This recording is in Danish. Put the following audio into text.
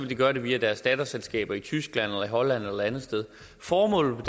de gøre det via deres datterselskaber i tyskland holland eller et andet sted formålet med